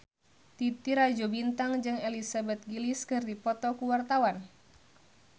Titi Rajo Bintang jeung Elizabeth Gillies keur dipoto ku wartawan